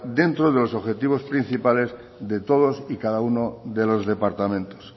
dentro de los objetivos principales de todos y cada uno de los departamentos